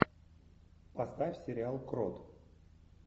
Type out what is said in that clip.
поставь сериал крот